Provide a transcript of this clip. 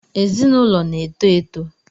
Ezinụlọ na-eto eto